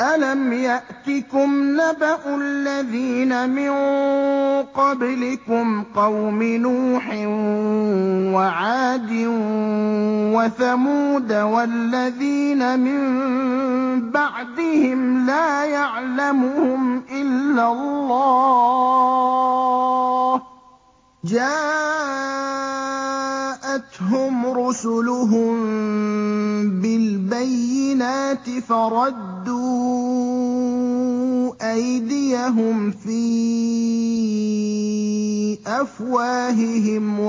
أَلَمْ يَأْتِكُمْ نَبَأُ الَّذِينَ مِن قَبْلِكُمْ قَوْمِ نُوحٍ وَعَادٍ وَثَمُودَ ۛ وَالَّذِينَ مِن بَعْدِهِمْ ۛ لَا يَعْلَمُهُمْ إِلَّا اللَّهُ ۚ جَاءَتْهُمْ رُسُلُهُم بِالْبَيِّنَاتِ فَرَدُّوا أَيْدِيَهُمْ فِي أَفْوَاهِهِمْ